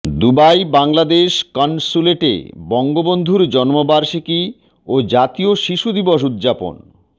Dubai Bangladesh কনস্যুলেটে বঙ্গবন্ধুর জন্মবার্ষিকী ও জাতীয় শিশু দিবস উদযাপন